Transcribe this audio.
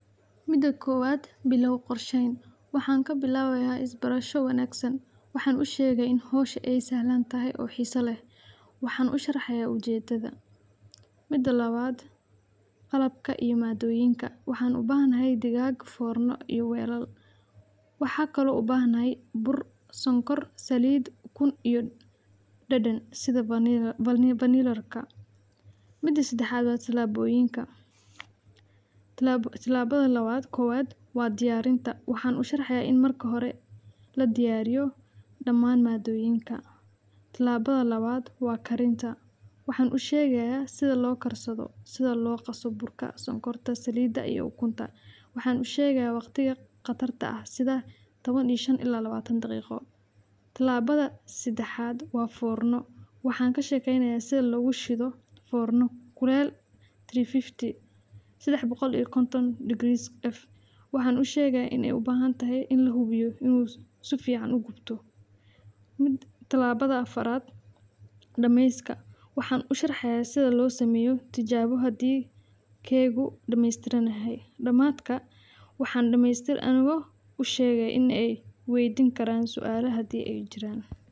Mida koowaad bilaaw qorshaha. Waxaan ka bilaabayaa isbarasho wanaagsan. Waxaan u sheegi lahaa in hawshu ay fududdahay ay xiiso leedahay. Waxaan u sharxayaa ujeeddada. Mida labaad: qalabka iyo maaddooyinka. Waxaan u baahanahay daasad fornada iyo weelal. Waxa kale oo u baahanahay bur, sonkor, saliid iyo ukun, iyo dhadhan sida vanillada. Mida saddexaad waa tillaabooyinka: Tillaabada koowaad waa diyaarinta. Waxaan u sharxayaa in marka hore la diyaariyo dhammaan maaddooyinka. Tillaabada labaad waa karinta. Waxaan u sheegayaa sida loo karsado, sida loo qaso burka, sonkorta, saliidda iyo ukunta. Waxaan u sheegayaa waqtiga karinta, sida toban iyo shan daqiiqo ilaa labaatan daqiiqo. Tillaabada saddexaad waa forno. Waxaan ka sheekeynayaa sida loogu shido fornada kuleyl saddex boqol iyo konton degrees F. Waxaan u sheegayaa in ay u baahan tahay in la hubiyo in si fiican uu u gubto. Tillaabada afraad: dhammaystirka. Waxaan u sharxayaa sida loo sameeyo tijaabo haddii keega dhamaystiran yahay. Dhamaadka waxaan dhammaantood u sheegi lahaa in ay i weydiin karaan su’aalo haddii ay jiraan.